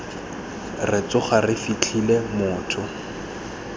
re tsoga re fitlhele motho